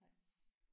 Nej